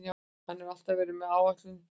Það hefur alltaf verið áætlun okkar.